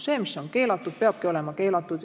See, mis on keelatud, peabki olema keelatud.